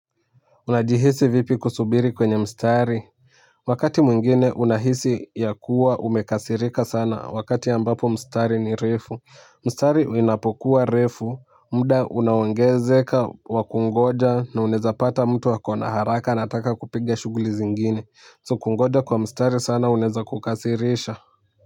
Unajihisi vipi kusubiri kwenye mstari wakati mwingine unahisi ya kuwa umekasirika sana wakati ambapo mstari ni refu mstari inapokuwa refu mda unaongezeka wa kungoja na unaezapata mtu ako na haraka anataka kupiga shughli zingine so kungoja kwa mstari sana unaweza kukasarisha.